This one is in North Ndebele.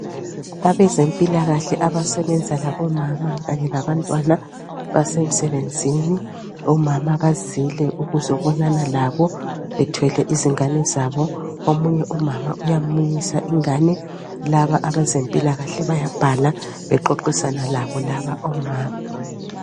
abezempilakahle abasebenza labo mama kanye labantwana basemsebenzini omama bazile ukuzobonana labo bethwele izingane zabo omunye umama uyamunyisa ingane laba abezempilakahle bayabhala baxoxisana labo laba omama